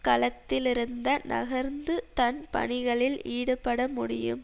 கலத்திலிருந்த நகர்ந்து தன் பணிகளில் ஈடுபடமுடியும்